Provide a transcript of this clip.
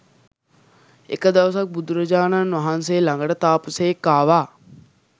එක දවසක් බුදුරජාණන් වහන්සේ ළඟට තාපසයෙක් ආවා